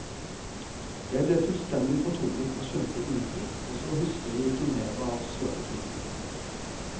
Jeg ble fullstendig fortumlet og skjønte ingenting, og så husker jeg ikke mer av svømmeturen.